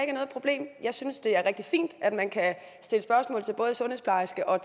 er noget problem jeg synes det er rigtig fint at man kan stille spørgsmål til både sundhedsplejerske og